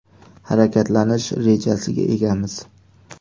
Harakatlanish rejasiga egamiz.